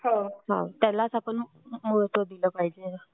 त्यालाच आपण महत्व दिलं पाहिजे